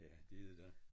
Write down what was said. Ja det er det da